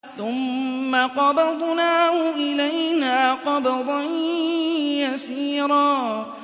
ثُمَّ قَبَضْنَاهُ إِلَيْنَا قَبْضًا يَسِيرًا